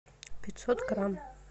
пятьсот грамм